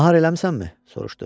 Nahar eləmisənmi?